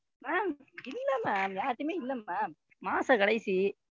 Ma'am இல்லல்ல யார்கிட்டயுமே இல்ல Ma'am மாச கடைசி,